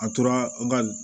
A tora n ka